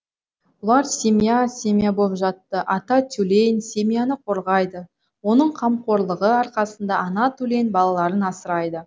бұлар семья семья боп жатты ата тюлень семьяны қорғайды оның қамқорлығы арқасында ана тюлень балаларын асырайды